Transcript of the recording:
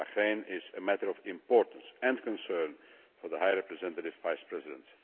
Bahrain is a matter of importance and concern to the High Representative Vice President.